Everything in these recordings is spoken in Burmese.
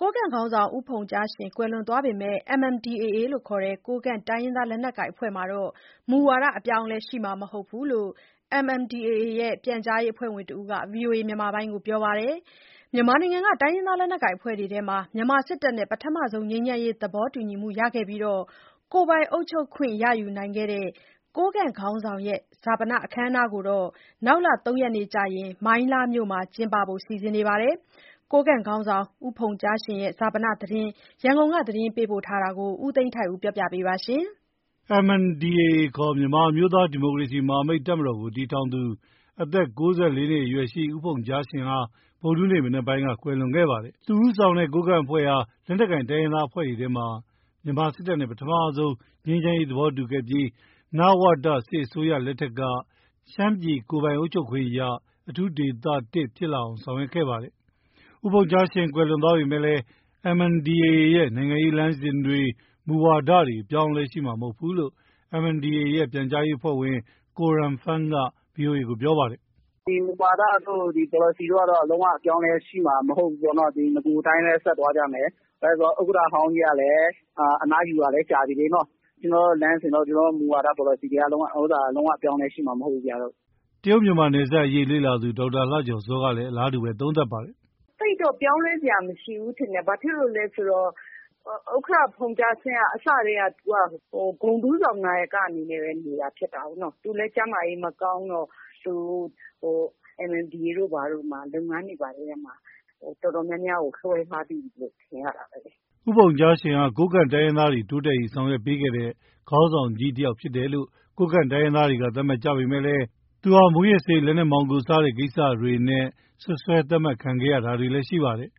ကိုးကန့်ခေါင်းဆောင် ဦးဖုန်ကြားရှင် ကွယ်လွန်သွားပေမယ့် MNDAA ခေါ် ကိုးကန့်တိုင်းရင်းသား လက်နက်ကိုင်အဖွဲ့မှာ မူဝါဒ အပြောင်းအလဲရှိမှာမဟုတ်ဘူးလို့ MNDAA ရဲ့ ပြန်ကြားရေးအဖွဲ့ဝင်တဦးက ဗွီအိုအေကိုပြောပါတယ်။ မြန်မာနိုင်ငံက တိုင်းရင်းသားလက်နက်ကိုင်အဖွဲ့တွေထဲမှာ မြန်မာစစ်တပ်နဲ့ ပထမဆုံး ငြိမ်းချမ်းရေးသဘောတူခဲ့ပြီး ကိုယ်ပိုင်အုပ်ချုပ်ခွင့်ရယူခဲ့တဲ့ ကိုးကန့်ခေါင်းဆောင်ရဲ့ဈာပနအခမ်းအနားကိုတော့ နောက်လ ၃ ရက်နေ့ကျရင် မိုင်းလားမြို့မှာကျင်းပဖို့ စီစဉ်နေပါတယ်။ ကိုးကန့်ခေါင်းဆောင် ဖုန်ကြားရှင်ရဲ့ ဈာပနသတင်း ရန်ကုန်က ပေးပို့ထားတာကို ဦးသိန်းထိုက်ဦးက တင်ပြပေးထားပါတယ်။ MNDAA ခေါ် မြန်မာအမျိုးသား ဒီမိုကရေစီမဟာမိတ်တပ်မတော်ကို တည်ထောင်သူ ဦးဖုန်ကြားရှင်ဟာ အသက် ၉၄ နှစ်အရွယ်မှာ ဗုဒ္ဓဟူးနေ့မနက်ပိုင်းက ကွယ်လွန်ခဲ့ပါတယ်။ သူဦးဆောင်တဲ့ကိုးကန့်အဖွဲ့ဟာ လက်နက်ကိုင် တိုင်းရင်းသားအဖွဲ့တွေထဲမှာ မြန်မာစစ်တပ်နဲ့ ပထမဆုံး ငြိမ်းချမ်းရေးသဘောတူခဲ့ပြီး နဝတ စစ်အစိုးရလက်ထက်မှာ ရှမ်းပြည်ကိုယ်ပိုင်အုပ်ချုပ်ခွင့်ရ အထူးဒေသ ၁ ဖြစ်လာအောင် ဆောင်ရွက်ခဲ့ပါတယ်။ ဦးဖုန်ကြားရှင်ကွယ်လွန်သွားပေမယ့် MNDAA ရဲ့ နိုင်ငံရေးလမ်းစဉ်တွေ၊ မူဝါဒတွေ အပြောင်းအလဲရှိမှာမဟုတ်ဘူးလို့ MNDAA ရဲ့ ပြန်ကြားရေးအဖွဲ့ဝင် ကိုရန်ဖန်းက ဗွီအိုအေကို ပြောပါတယ်။ “ဒီမူဝါဒတို့ ပေါ်လစီတို့ကတော့ လုံးဝ အပြောင်းအလဲရှိမှာ မဟုတ်ဘူးပေါ့နော။ နဂိုအတိုင်းပဲ ဆက်သွားကြမယ်။ ဘာလို့လဲဆိုတော့ ဥက္ကဋ္ဌဟောင်းကြီးကလည်း အနားယူတာလည်း ကြာပြီလေ။ ကျနော်တို့ လမ်းစဉ်တို့၊ မူဝါဒ ပေါ်လစီတို့က လုံးဝ အပြောင်းအလဲရှိမှာ မဟုတ်ဘူးဗျ။ ” တရုတ်မြန်မာနယ်စပ်အရေး လေ့လာသူ ဒေါက်တာလှကျော်ဇောကလည်း အလားတူပဲ သုံးသပ်ပါတယ်။ “သိပ်တော့ ပြောင်းလဲစရာမရှိဘူးထင်တယ်။ ဘာဖြစ်လို့လဲဆိုတော့ ဥက္ကဋ္ဌဖုန်ကြားရှင်က အစတည်းက သူက ဂုဏ်ထူးဆောင်နာယက အနေနဲ့ပဲ နေတာဖြစ်တာကိုးနော။ သူလည်း ကျန်းမာရေးမကောင်းတော့ MNDAA တို့ ဘာတို့မှာ လုပ်ငန်းတွေ တော်တော်များများကို လွှဲထားပြီလို့ ထင်ရတာပဲ။” ဦးဖုန်ကြားရှင်ဟာ ကိုးကန့်တိုင်းရင်းသားတွေ တိုးတက်ရေး ဆောင်ရွက်ပေးခဲ့တဲ့ ခေါင်းဆောင်ကြီးတယောက်ဖြစ်တယ်လို့ ကိုးကန့်တိုင်းရင်းသားတွေက သတ်မှတ်ကြပေမယ့် သူဟာ မူးယစ်ဆေး၊ လက်နက်မှောင်ခို စတဲ့ကိစ္စတွေနဲ့ စွပ်စွဲ သတ်မှတ်ခံရတာ တွေလည်း ရှိခဲ့ပါတယ်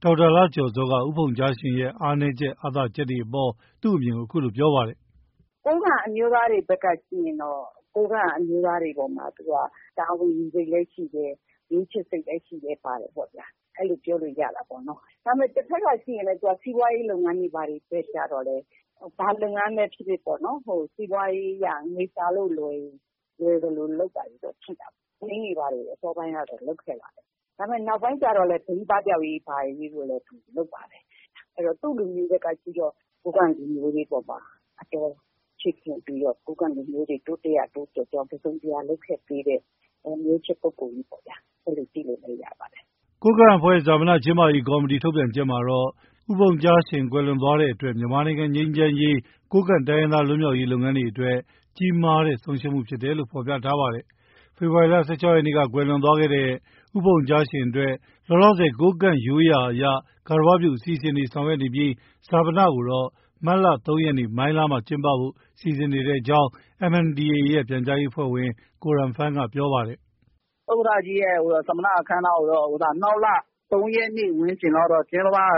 ။ ဒေါက်တာလှကျော်ဇောက ဦးဖုန်ကြားရှင်ရဲ့ အားသာချက်၊ အားနည်းချက်အပေါ် သူ့အမြင်ကို အခုလို ပြောပါတယ်။ “ကိုးကန့်အမျိုးသားတွေဘက်က ကြည့်ရင်တော့ ကိုးကန့်အမျိုးသားတွေအပေါ်မှာ သူက တာဝန်ယူစိတ်လည်း ရှိတယ်။ မျိုးချစ်စိတ်လည်း ရှိတယ်ပေ့ါဗျာ။ အဲလိုပြောလို့ ရတာပေါ့။ တဘက်ကကြည့်ရင်လည်း စီးပွားရေးလုပ်ငန်းတွေ ဘာတွေ ဘက်ကျတော့လည်း ဘာလုပ်ငန်းပဲဖြစ်ဖြစ်ပေါ့ စီးပွားရေးအရ ငွေရှာလို့လွယ်ရင် လွယ်သလို လုပ် တာတွေတော့ ရှိတာပေ့ါ။ ဘိန်းတွေ ဘာတွေ အစောပိုင်းကတော့ လုပ်ခဲ့တာပေါ့။ နောက်ပိုင်းကျတော့လည်း ဘိန်းပပျောက်ရေးတို့ ဘာတို့လည်း လုပ်ပါတယ်။ အဲတော့ သူ့ လူမျိုးဘက်ကကြည့်တော့ ကိုးကန့်လူမျိုးတွေအပေါ်မှာ အတော်ချစ်ခင်ပြီးတော့ ကိုးကန့်လူမျိုးတွေ တစုံတရာ တိုးတက်ရာ တိုးတက်ကြောင်း လုပ်ခဲ့ပေးတဲ့ မျိုးချစ်ပုဂ္ဂိုလ်ကြီးပေါ့ဗျာ။ ” ကိုးကန့်အဖွဲ့ရဲ့ ဈာပနကျင်းပရေးကော်မတီ ထုတ်ပြန်ချက်မှာတော့ ဦးဖုန်ကြားရှင် ကွယ်လွန်သွားတဲ့အတွက် မြန်မာနိုင်ငံ ငြိမ်းချမ်းရေး၊ ကိုးကန့်တိုင်းရင်းသား လွတ်မြောက်ရေးလုပ်ငန်းတွေအတွက် ကြီးမားတဲ့ဆုံးရှုံးမှုဖြစ်တယ်လို့ ဖော်ပြထားပါတယ်။ ဖေဖော်ဝါရီ ၁၆ ရက်နေ့က ကွယ်လွန်သွားတဲ့ ဦးဖုန်ကြားရှင်အတွက် လောလောဆယ် ကိုးကန့်ရိုးရာအရ ဂါရဝပြုအစီအစဉ် တွေဆောင်ရွက်နေပြီး ဈာပနကိုတော့ မတ်လ ၃ ရက်နေ့ မိုင်းလားမြို့မှာ ကျင်းပဖို့ စီစဉ်နေတယ်လို့ MNDAA ရဲ့ ပြန်ကြားရေး အဖွဲ့ဝင် ကိုရန်ဖန်းက ပြောပါတယ်။ “ဥက္ကဋ္ဌကြီးရဲ့ ဈာပနအခမ်းအနားကိုတော့ နောက်လ ၃ ရက်နေ့ ဝန်းကျင်လောက်တော့ ကျင်းပမယ်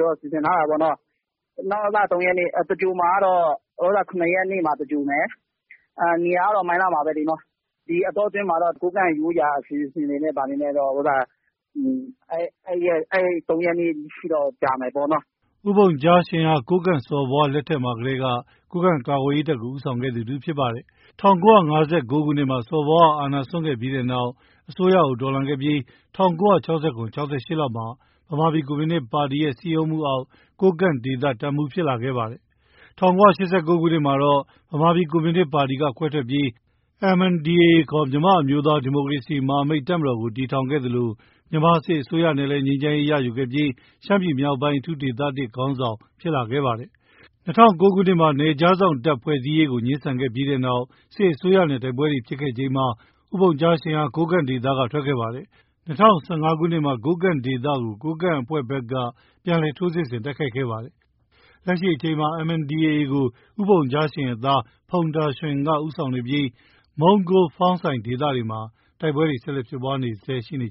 တော့ စီစဉ်ထားတာပေါ့နော်။ နောက်လ ၃ ရက်နေ့။ သင်္ဂြိုဟ်မှာကတော့ ၇ ရက်နေ့မှာ သင်္ဂြိုဟ်မယ်။ နေရာကတော့ မိုင်းလားမှာပဲလေ နော။ ဒီအတောအတွင်းမှာတော့ ကိုးကန့် ရိုးရာအစီအစဉ်တွေနဲ့ အဲဒီ ၃ ရက်နေ့အထိတော့ ကြာမယ်ပေါ့နော။” ဦးဖုန်ကြားရှင်ဟာ ကိုးကန့်စော်ဘွားလက်ထက်မှာကတည်းက ကိုးကန့်ကာကွယ်ရေးတပ်ကို ဦးဆောင်ခဲ့သူတဦးဖြစ်ပါတယ်။ ၁၉၅၉ ခုနှစ်မှာ စော်ဘွားက အာဏာစွန့်ခဲ့ပြီးတဲ့နောက် အစိုးရကိုတော်လှန်ခဲ့ပြီး ၁၉၆၇-၆၈ လောက်မှာ ဗမာပြည်ကွန်မြူနစ်ပါတီ ရဲ့ စည်းရုံးမှုအောက် ကိုးကန့်ဒေသတပ်မှုးဖြစ်လာခဲ့ပါတယ်။ ၁၉၈၉ ခုနှစ်မှာတော့ ဗမာပြည်ကွန်မြူနစ်ပါတီက ခွဲထွက်ပြီး MNDAA ခေါ် မြန်မာ အမျိုးသား ဒီမိုကရေစီမဟာမိတ်တပ်မတော်ကို တည်ထောင်ခဲ့သလို မြန်မာစစ်အစိုးရနဲ့လည်း ငြိမ်းချမ်းရေးရယူပြီး ရှမ်းပြည်မြောက်ပိုင်း အထူးဒေသ (၁) ခေါင်းဆောင် ဖြစ်လာခဲ့ ပါတယ်။ ၂၀၀၉ ခုနှစ်မှာ နယ်ခြားစောင့်တပ်ဖွဲ့စည်းရေးကို ငြင်းဆန်ခဲ့တဲ့နောက် စစ်အစိုးရနဲ့ တိုက်ပွဲတွေဖြစ်ခဲ့ချိန်မှာ ဖုန်ကြားရှင်ဟာ ကိုးကန့်ဒေသက ထွက်ခွာခဲ့ပါတယ်။ ၂၀၁၅ ခုနှစ်မှာ ကိုးကန့်ဒေသကို ကိုးကန့်အဖွဲ့ဘက်က ပြန်လည်ထိုးစစ်ဆင် တိုက်ခိုက်ခဲ့ပါတယ်။ လက်ရှိအချိန်မှာ MNDAA ကို ဦးဖုန်ကြားရှင်ရဲ့သား ဖုန်တာရွှင်က ဦးဆောင်နေပြီး မုံးကိုး၊ ဖောင်းဆိုင်ဒေသတွေမှာ တိုက်ပွဲတွေ ဆက်လက် ဖြစ်ပွားနေဆဲ ရှိနေ